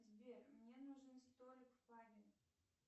сбер мне нужен столик в пабе